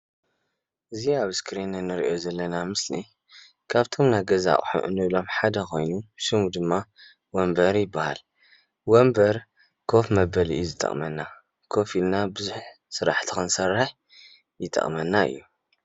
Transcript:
እዚ ኣብ እስክሪን እንሪኦ ዘለና ምስሊ ካብቶም ናይ ገዛ ኣቅሑ እንብሎም ሓደ ኮይኑ ሽሙ ድማ ወንበር ይባሃል፣ ወንበር ኮፍ መበሊ እዩ ይጠቅመና ኮፍ ኢልና ብዙሕ ስራሕቲ ክንሰርሕ ይጠቅመና እዩ፡፡